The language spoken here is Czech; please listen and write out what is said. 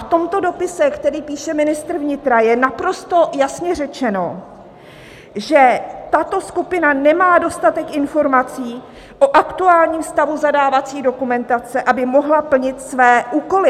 V tomto dopise, který píše ministr vnitra, je naprosto jasně řečeno, že tato skupina nemá dostatek informací o aktuálním stavu zadávací dokumentace, aby mohla plnit své úkoly.